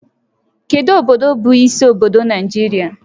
Kedu obodo bụ isi obodo Naijiria?